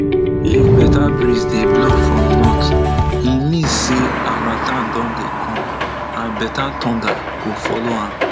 if better breeze dey blow from north e mean say harmattan don dey come and better thunder go follow am